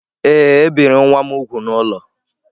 Ee, e biri nwa m úgwù n’ụlọ